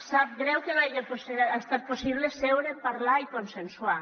sap greu que no hagi estat possible seure parlar i consensuar